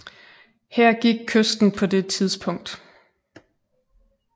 Her gik kysten på det tidspunkt